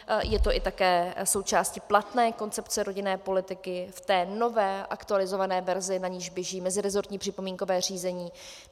Je to i také součástí platné koncepce rodinné politiky v té nové, aktualizované verzi, na niž běží meziresortní připomínkové řízení.